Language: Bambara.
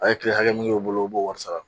A' ye tile hakɛ min y'o bolo u b'o wɔri sara.